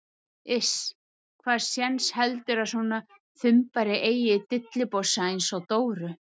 Iss, hvaða séns heldurðu að svona þumbari eigi í dillibossa einsog Dóru?